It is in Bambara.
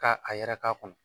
Ka a yɛrɛ k'a kun